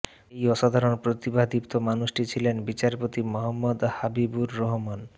এই অসাধারণ প্রতিভাদীপ্ত মানুষটি ছিলেন বিচারপতি মুহাম্মদ হাবিবুর রহমান